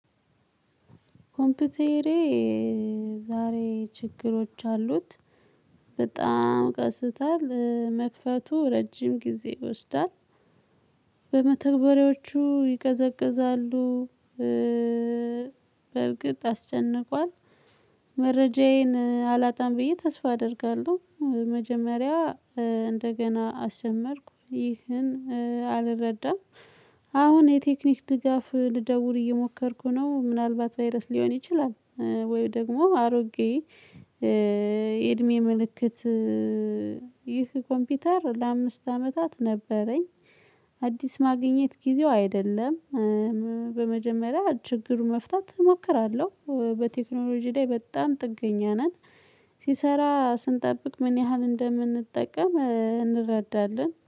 ኮምፒውተሬ ዛሬ ችግሮች አሉት። በጣም ቀስቷል። መክፈቱ ረጅም ጊዜ ይወስዳል። በመተግበሪያዎቹ ይቀዘቅዛሉ። በእርግጥ አስጨንቋል። መረጃዬን አላጣም ብዬ ተስፋ አደርጋለሁ። መጀመሪያ እንደገና አሰጀመርኩ ይህን አልረዳም። አሁን የቴክኒክ ድጋፍ ልደውል እየሞከርኩ ነው። ምናልባት ቫይረስ ሊሆን ይችላል፤ ወይም ደግሞ አሮጌ የእድሜ ምልክት ይህ ኮምፒውተር ለአምስት አመታት ነበረኝ። አዲስ ማግኘት ጊዜው አይደለም። በመጀመሪያ ችግሩን መፍታት እሞክራለሁ። በቴክኖሎጂ ላይ በጣም ጥገኛ ነን። ሲሰራ ስንጠብቅ ምን ያህል እንደምንጠቀም እንረዳለን።